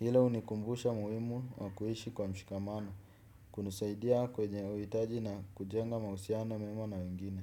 Hilo hunikumbusha umuhimu wa kuishi kwa mshikamano. Hunisaidia kwenye uhitaji na kujenga mahusiano mema na wengine.